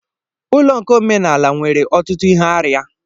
Ụlọ nkà omenala nwere ọtụtụ ihe arịa.